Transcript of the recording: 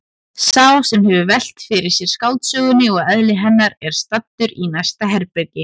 Sá sem hefur velt fyrir sér skáldsögunni og eðli hennar er staddur í næsta herbergi.